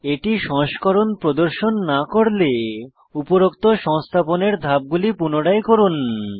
এটি সংস্করণ প্রদর্শন না করলে উপরোক্ত সংস্থাপনের ধাপগুলি পুনরায় করুন